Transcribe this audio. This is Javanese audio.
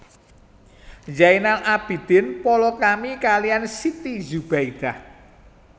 Zainal Abidin palakrami kaliyan Siti Zubaidah